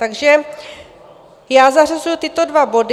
Takže já zařazuji tyto dva body.